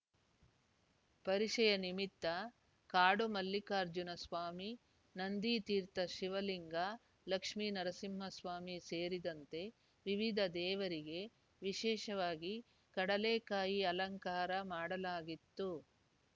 ಪರಿಷೆಯ ನಿಮಿತ್ತ ಕಾಡು ಮಲ್ಲಿಕಾರ್ಜುನ ಸ್ವಾಮಿ ನಂದಿತೀರ್ಥ ಶಿವಲಿಂಗ ಲಕ್ಷ್ಮೇ ನರಸಿಂಹಸ್ವಾಮಿ ಸೇರಿದಂತೆ ವಿವಿಧ ದೇವರಿಗೆ ವಿಶೇಷವಾಗಿ ಕಡಲೆಕಾಯಿ ಅಲಂಕಾರ ಮಾಡಲಾಗಿತ್ತು